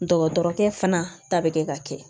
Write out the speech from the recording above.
Dɔgɔtɔrɔkɛ fana ta bɛ kɛ ka kɛ